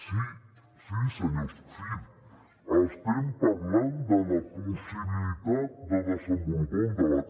sí sí senyors sí estem parlant de la possibilitat de desenvolupar un debat